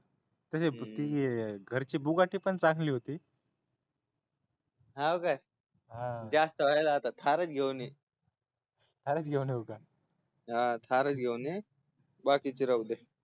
तशी घरची बुगाटी पण चांगली होती हा काय जास्त व्हायलय आता थारच घेऊन ये थारच घेऊन ये का हा थारच घेऊन ये बाकीच राहू दे